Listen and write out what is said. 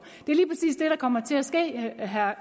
at have